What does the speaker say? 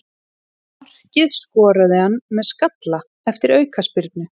Markið skoraði hann með skalla eftir aukaspyrnu.